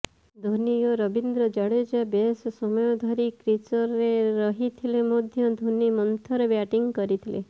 ଧୋନୀ ଓ ରବିନ୍ଦ୍ର ଜାଡେଜା ବେଶ ସମୟ ଧରି କ୍ରିଚରେ ରହିଥିଲେ ମଧ୍ୟ ଧୋନୀ ମନ୍ଥର ବ୍ୟାଟିଂ କରିଥିଲେ